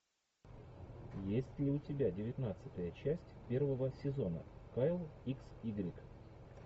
есть ли у тебя девятнадцатая часть первого сезона кайл икс игрек